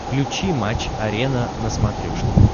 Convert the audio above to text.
включи матч арена на смотрешке